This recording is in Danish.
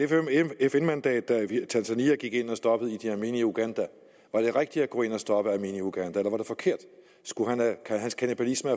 fn mandat da tanzania gik ind og stoppede idi amin i uganda var det rigtigt at gå ind at stoppe idi amin i uganda eller var det forkert skulle hans kannibalisme